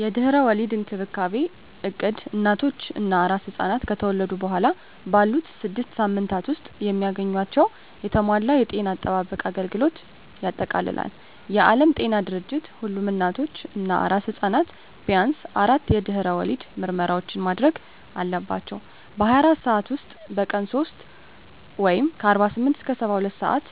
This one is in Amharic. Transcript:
የድህረ ወሊድ እንክብካቤ እቅድ እናቶች እና አራስ ሕፃናት ከተወለዱ በኋላ ባሉት ስድስት ሳምንታት ውስጥ የሚያገኟቸውን የተሟላ የጤና አጠባበቅ አገልግሎቶችን ያጠቃልላል። የዓለም ጤና ድርጅት ሁሉም እናቶች እና አራስ ሕፃናት ቢያንስ አራት የድህረ ወሊድ ምርመራዎችን ማድረግ አለባቸው - በ24 ሰዓት ውስጥ፣ በቀን 3 (48-72 ሰአታት)፣